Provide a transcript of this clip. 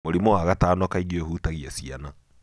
Mũrimũ wa gatano kaingĩ ũhũtagia ciana.